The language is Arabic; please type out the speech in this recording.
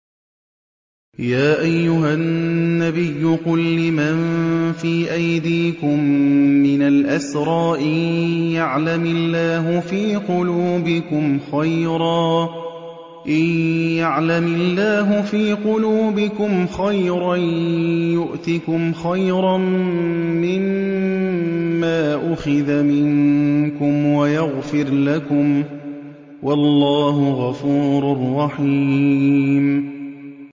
يَا أَيُّهَا النَّبِيُّ قُل لِّمَن فِي أَيْدِيكُم مِّنَ الْأَسْرَىٰ إِن يَعْلَمِ اللَّهُ فِي قُلُوبِكُمْ خَيْرًا يُؤْتِكُمْ خَيْرًا مِّمَّا أُخِذَ مِنكُمْ وَيَغْفِرْ لَكُمْ ۗ وَاللَّهُ غَفُورٌ رَّحِيمٌ